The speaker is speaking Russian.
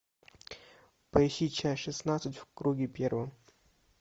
поищи часть шестнадцать в круге первом